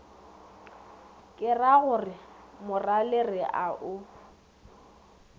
keragore morale re a o